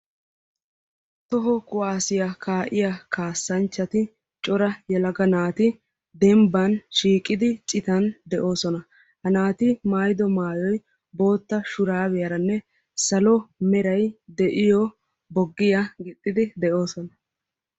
Toho kuwaassiya kaa'iya kaassanchchatti cora yelaga naati denbban shiiqidi citan de'ossona. Ha naati maayido maayoy bootta shurabiyaranne salo meray de'iyo boggiya gixxid de'ossona.